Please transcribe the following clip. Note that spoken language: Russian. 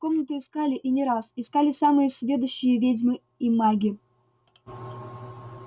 комнату искали и не раз искали самые сведущие ведьмы и маги